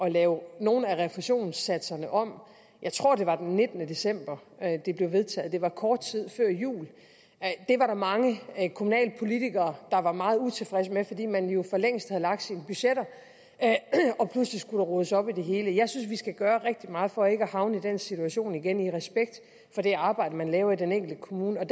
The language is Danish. at lave nogle af refusionssatserne om jeg tror det var den nittende december at det blev vedtaget det var kort tid før jul det var der mange kommunalpolitikere der var meget utilfredse med fordi man jo for længst havde lagt sine budgetter og pludselig skulle der rodes op i det hele jeg synes vi skal gøre rigtig meget for ikke at havne i den situation igen i respekt for det arbejde man laver i den enkelte kommune vi